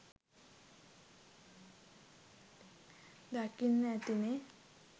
දකින්න ඇතිනේ